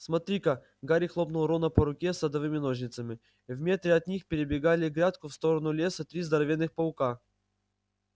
смотри-ка гарри хлопнул рона по руке садовыми ножницами в метре от них перебегали грядку в сторону леса три здоровенных паука